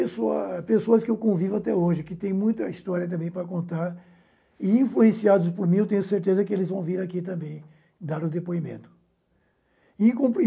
pessoa pessoas que eu convivo até hoje, que têm muita história também para contar, e influenciados por mim, eu tenho certeza que eles vão vir aqui também dar o depoimento. E